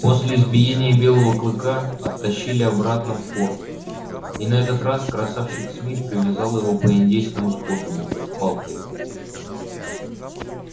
после избиения белого клыка оттащили обратно в форт и на этот раз красавчик смит привязал его по индейскому способу палкой